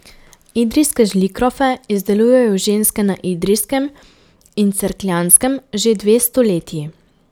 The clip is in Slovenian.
Idrijske žlikrofe izdelujejo ženske na Idrijskem in Cerkljanskem že dve stoletji.